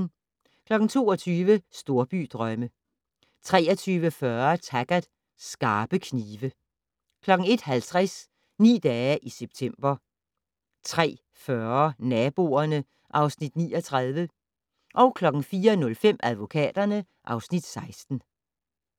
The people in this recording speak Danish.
22:00: Storbydrømme 23:40: Taggart: Skarpe knive 01:50: Ni dage i september 03:40: Naboerne (Afs. 39) 04:05: Advokaterne (Afs. 16)